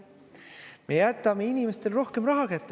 Me jätame inimestele rohkem raha kätte.